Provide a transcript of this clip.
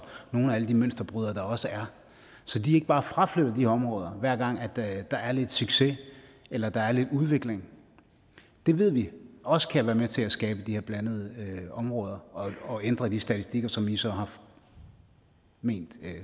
nogle af alle de mønsterbrydere der også er så de ikke bare fraflytter de områder hver gang der er lidt succes eller der er lidt udvikling det ved vi også kan være med til at skabe de her blandede områder og ændre de statistikker som i så har ment